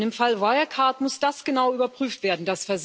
Im Fall Wirecard muss das genau überprüft werden.